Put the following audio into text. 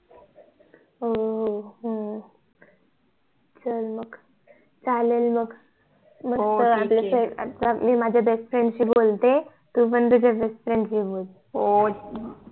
हो हो हो चल मग चालेल मग मी माझ्या BEST FRIEND शी बोलते तू पण तुझ्या BEST FRIEND शी बोल